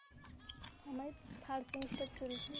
আমার third semester চলছে